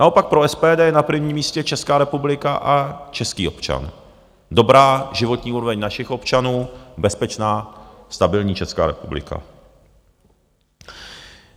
Naopak pro SPD je na prvním místě Česká republika a český občan, dobrá životní úroveň našich občanů, bezpečná, stabilní Česká republika.